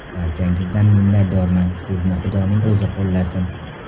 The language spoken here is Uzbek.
Barchangizdan minnatdorman, sizni xudoning o‘zi qo‘llasin!